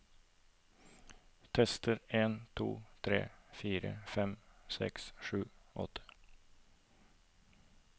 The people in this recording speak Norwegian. Tester en to tre fire fem seks sju åtte